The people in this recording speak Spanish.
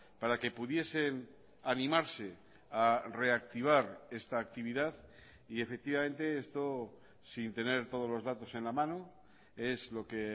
para que pudiesen animarse a reactivar esta actividad y efectivamente esto sin tener todos los datos en la mano es lo que